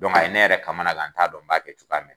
a ye ne yɛrɛ kamanan guwan n t'a dɔn n b'a kɛ cogo min